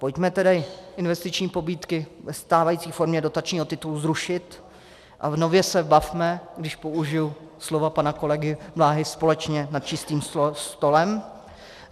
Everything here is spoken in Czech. Pojďme tedy investiční pobídky ve stávající formě dotačního titulu zrušit a nově se bavme, když použiji slova pana kolegy Bláhy, společně nad čistým stolem.